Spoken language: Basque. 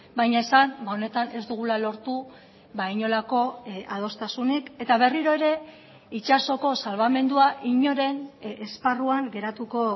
baina esan honetan ez dugula lortu inolako adostasunik eta berriro ere itsasoko salbamendua inoren esparruan geratuko